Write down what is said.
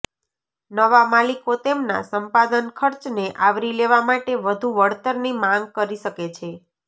નવા માલિકો તેમના સંપાદન ખર્ચને આવરી લેવા માટે વધુ વળતરની માંગ કરી શકે છે